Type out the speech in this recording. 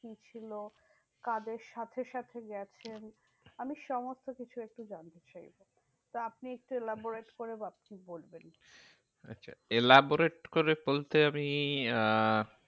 কি ছিল? কাদের সাথে সাথে গেছেন? আমি সমস্তকিছু একটু জানতে চাই। তো আপনি একটু elaborate করে ভাবছি বলবেন। আচ্ছা elaborate করে বলতে আমি আহ